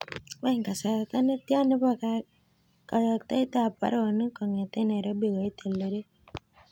Wany kasarta netian nebo kayaktaeb ab baronok kong'eten nairobi koit eldoret